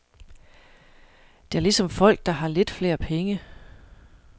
Det er ligesom folk, der har lidt flere penge.